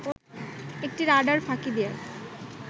একটি রাডার ফাঁকি দেয়ার